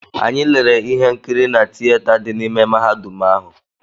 Anyị lere ihe nkiri na tiyeta dị n’ime mahadum ahụ.